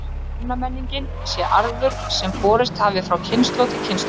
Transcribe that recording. Kvennamenningin sé arfur sem borist hafi frá kynslóð til kynslóðar.